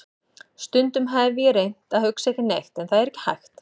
Stundum hef ég reynt að hugsa ekki neitt en það er ekki hægt.